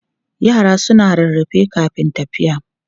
Yara suna rarrafe kafin tafiya.